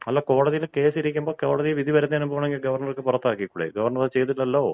അല്ല, കോടതിയിൽ കേസ് ഇരിക്കുമ്പോൾ കോടതിവിധി വരുന്നതിനുമുമ്പ് വേണമെങ്കിൽ ഗവർണർക്ക് പുറത്താക്കിക്കൂടെ? ഗവർണർ അത് ചെയ്തില്ലല്ലോ.